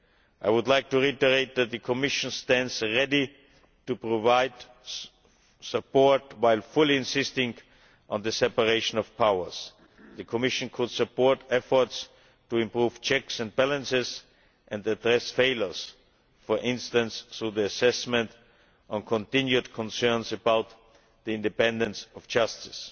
I would like to reiterate that the Commission stands ready to provide support, while fully insisting on the separation of powers. The Commission could support efforts to improve checks and balances and address failures, for instance through the assessment on continued concerns about the independence of justice.